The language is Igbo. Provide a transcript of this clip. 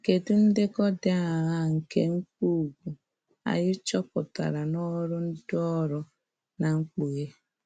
Kedụ ndekọ dị aṅaa nke mkpugwu, anyị chọpụtara n'ọrụ Ndiorụ na Mkpughe?